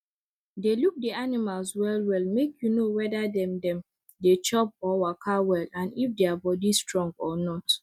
dey look the animals well well make you know weda dem dem dey chop or waka well and if their body strong or not